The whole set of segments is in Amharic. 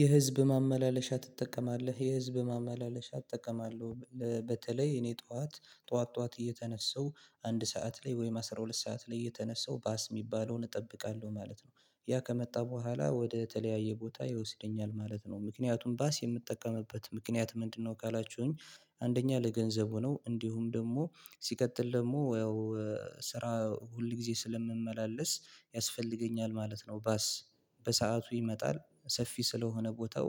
የህዝብ ማመላለሻ ትጠቀማለህ? የህዝብ ማመላለሻ እጠቀማለሁ። በተለይ እኔ ጠዋት ጠዋት ጠዋት እየተነሳሁ አንድ ሰዓት ላይ ወይም አስራ ሁለት ሰዓት ላይ እየተነሳሁ ባስ የሚባለውን እጠብቃለሁ ማለት ነው። ያ ከመጣ በኋላ ወደ ተለያየ ቦታ ይወስደኛል ማለት ነው። ምክንያቱም ባስ የምጠቀምበት ምክንያት ምንድነው ካላችሁኝ አንደኛ ለገንዘቡ ነው። እንዲሁም ደግሞ ሲቀጥል ደግሞ ያው ስራ ሁል ጊዜ ስለምመላለስ ያስፈልገኛል ማለት ነው ባስ። በሰአቱ ይመጣል ሰፊ ስለሆነ ቦታው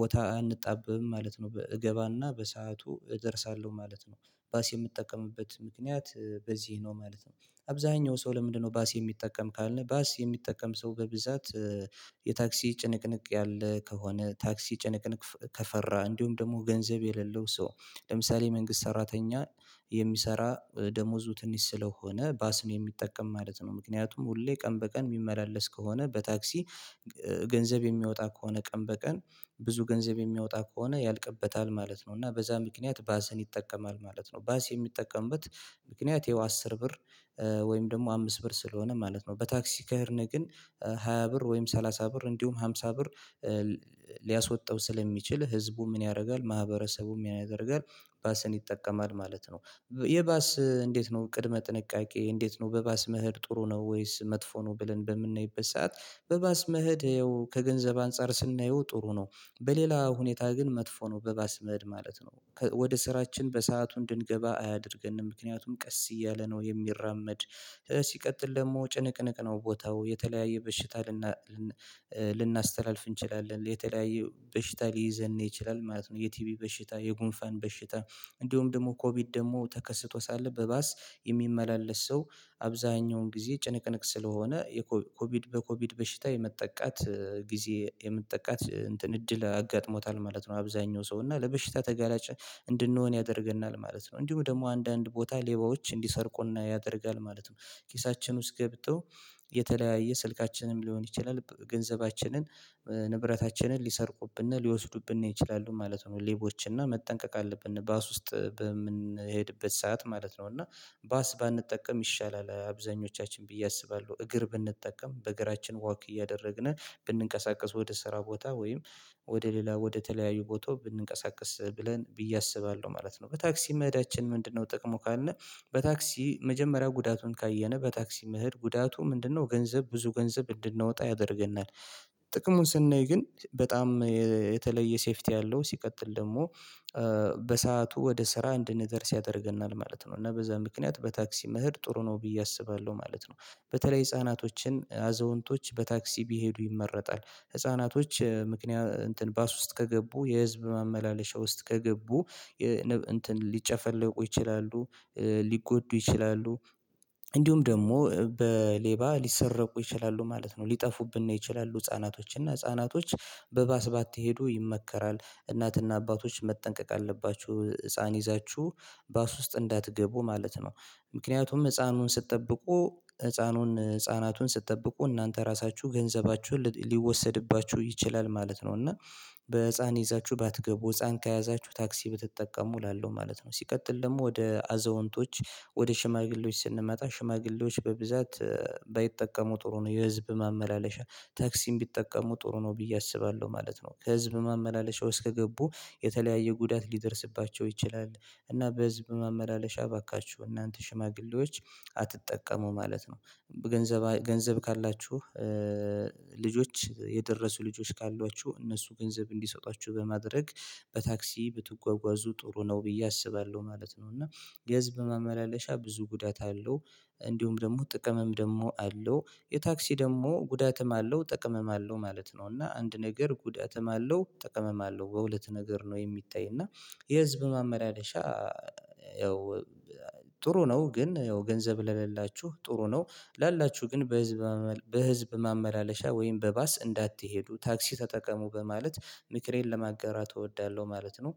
ቦታ አንጣብብም ማለት ነው። እገባና በሰአቱ እደርሳለሁ ማለት ነው። ባስ የምጠቀምበት ምክንያት በዚህ ነው ማለት ነው። አብዛኛው ሰው ለምንድነው ባስ የሚጠቀም ካልን ባስ የሚጠቀም ሰው በብዛት የታክሲ ጭንቅንቅ ያለ ከሆነ፤ ታክሲ ጭንቅንቅ ከፈራ፤ እንዲሁም ደግሞ ገንዘብ የሌለው ሰው ለምሳሌ መንግስት ሰራተኛ የሚሰራ ደሞዙ ትንሽ ስለሆነ ባስ ነው የሚጠቀም ማለት ነው። ምክንያቱም ሁሌ ቀን በቀን የሚመላለስ ከሆነ በታክሲ ገንዘብ የሚያወጣ ከሆነ ቀን በቀን ብዙ ገንዘብ የሚያወጣ ከሆነ ያልቅበታል ማለት ነው። እና በዛ ምክንያት ባስን ይጠቀማል ማለት ነው። ባስ የሚጠቀምበት ምክንያት ያው አስር ብር ወይም ደግሞ አምስት ብር ስለሆነ ማለት ነው። በታክሲ ከሄድን ግን ሃያ ብር ወይም ሰላሳ ብር እንዲሁም አምሳ ብር ሊያስወጣው ስለሚችል ህዝቡ ምን ያደርጋል ማህበረሰቡም ያደርጋል ባስን ይጠቀማል ማለት ነው። የባስ እንዴት ነው ቅድመ ጥንቃቄ እንዴት ነው? በባስ መሄድ ጥሩ ነው ወይስ መጥፎ ነው? ብለን በምናይበት ሰዓት በባስ መሄድ ያው ከገንዘብ አንፃር ስናየው ጥሩ ነው። በሌላ ሁኔታ ግን መጥፎ ነው። በባስ መሄድ ማለት ነው። ወደ ስራችን በሰአቱ እንድንገባ አያደርገንም። ምክንያቱም ቀስ እያለ ነው የሚራመድ። ሲቀጥል ደግሞ ጭንቅንቅ ነው ቦታው የተለያየ በሽታ ልናስተላልፍ እንችላለን። የተለያዩ በሽታ ሊይዘን ይችላል ማለት። ነው የቲቢ በሽታ፣ የጉንፋን በሽታ እንዲሁም ደግሞ ኮቪድ ደግሞ ተከስቶ ሳለ በባስ የሚመላለስ ሰው አብዛኛውን ጊዜ ጭንቅንቅ ስለሆነ የኮቪድ በኮቪድ በሽታ የመጠቃት ጊዜ የመጠቃት እንትን እድል አጋጥሞታል ማለት ነው አብዛኛው ሰው። እና ለበሽታ ተጋላጭ እንድንሆን ያደርገናል ማለት ነው። እንዲሁም ደግሞ አንዳንድ ቦታ ሌባዎች እንዲሰርቁን ያደርጋል ማለት ነው። ኪሳችን ውስጥ ገብተው የተለያየ ስልካችንም ሊሆን ይችላል ገንዘባችንን ንብረታችንን ሊሰርቁብን ሊወስዱብን ይችላሉ ማለት ነው ሌቦች። እና መጠንቀቅ አለብን ባስ ውስጥ በምንሄድበት ሰዓት ማለት ነው። እና ባስ ባንጠቀም ይሻላል አብዛኞቻችን ብዬ አስባለሁ። እግር ብንጠቀም በእግራችን ወክ እያደረግን ብንንቀሳቀስ ወደ ስራ ቦታ ወይም ወደ ሌላ ወደ ተለያዩ ቦታ ብንንቀሳቀስ ብለን ብዬ አስባለሁ ማለት ነው። በታክሲ መሄዳችን ምንድነው ጥቅሙ ካልን በታክሲ መጀመሪያ ጉዳቱን ካየን በታክሲ መሄድ ጉዳቱ ምንድነው ገንዘብ ብዙ ገንዘብ እንድናወጣ ያደርገናል ጥቅሙን ስናይ ግን በጣም የተለየ ሴፊቲ አለው። ሲቀጥል ደግሞ በሰአቱ ወደ ስራ እንድንደርስ ያደርገናል ማለት ነው። እና በዛ ምክንያት በታክሲ መሄድ ጥሩ ነው ብዬ አስባለሁ ማለት ነው። በተለይ ህፃናቶችን አዛውንቶች በታክሲ ቢሄዱ ይመረጣል። ህፃናቶች ምክንያት ባስ ውስጥ ከገቡ የህዝብ ማመላለሻ ውስጥ ከገቡ የንብ እንትን ሊጨፈለቁ ይችላሉ ሊጎዱ ይችላሉ እንዲሁም ደግሞ በሌባ ሊሰረቁ ይችላሉ ማለት ነው። ሊጠፉብን ነው ይችላሉ ህፃናቶች። እና ህፃናቶች በባስ ሄዶ ይመከራል። እናትና አባቶች መጠንቀቅ አለባችሁ ህፃን ይዛችሁ ባስ ውስጥ እንዳትገቡ ማለት ነው። ምክንያቱም ህፃኑን ስትጠብቁ ህፃኑን ህፃናቱን ስትጠብቁ እናንተ ራሳችሁ ገንዘባችሁን ሊወሰድባችሁ ይችላል ማለት ነው። እና በህፃን ይዛችሁ ባትገቡ ህፃን ከያዛችሁ ታክሲ ብትጠቀሙ እላለው ማለት ነው። ሲቀጥል ደግሞ ወደ አዛውንቶች ወደ ሽማግሌዎች ስንመጣ ሽማግሌዎች በብዛት ባይጠቀሙ ጥሩ ነው የህዝብ ማመላለሻ። ታክሲም ቢጠቀሙ ጥሩ ነው ብዬ አስባለሁ ማለት ነው። ከህዝብ ማመላለሻ ውስጥ ከገቡ የተለያየ ጉዳት ሊደርስባቸው ይችላል። እና በህዝብ ማመላለሻ አባካችሁ እናንተ ሽማግሌዎች አትጠቀሙ ማለት ነው። ገንዘብ ካላችሁ ልጆች የደረሱ ልጆች ካሏችሁ እነሱ ገንዘብ እንዲሰጧችሁ በማድረግ በታክሲ ብትጓጓዙ ጥሩ ነው ብዬ አስባለሁ ማለት ነው። እና የህዘብ በማመላለሻ ብዙ ጉዳት አለው። እንዲሁም ደግሞ ጥቅምም ደግሞ አለው። የታክሲ ደግሞ ጉዳትም አለው ጥቅምም አለው ማለት ነው። እና አንድ ነገር ጉዳትም አለው ጥቅምም አለው። በሁለት ነገር ነው የሚታየው እና የህዝብ ማመላለሻ ያው ጥሩ ነው ግን ያው ገንዘብ ለሌላችሁ ጥሩ ነው ላላችሁ ግን በህዝብ ማመላለሻ ወይም በባስ እንዳትሄዱ። ታክሲ ተጠቀሙ በማለት ምክሬን ለማጋራት እወዳለሁ ማለት ነው።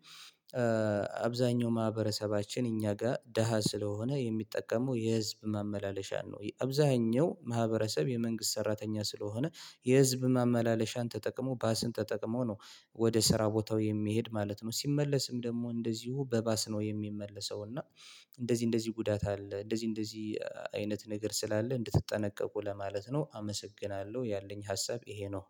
አብዛኛው ማህበረሰባችን እኛ ጋር ደሃ ስለሆነ የሚጠቀመው የህዝብ ማመላለሻን ነው። የአብዛኛው ማህበረሰብ የመንግስት ሰራተኛ ስለሆነ የህዝብ ማመላለሻን ተጠቅሞ ባስን ተጠቅሞ ነው ወደ ስራ ቦታው የሚሄድ ማለት ነው ሲመለስም ደግሞ እንደዚሁ በባስ ነው የሚመለሰው እና እንደዚህ እንደዚህ ጉዳት አለ እንደዚህ እንደዚህ አይነት ነገር ስላለ እንድትጠነቀቁ ለማለት ነው አመሰግናለሁ ያለኝ ሀሳብ ይሄ ነው።